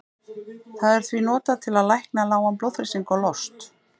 Það er því notað til að lækna lágan blóðþrýsting og lost.